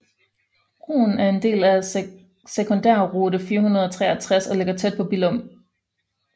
Broen er en del af Sekundærrute 463 og ligger tæt på Billum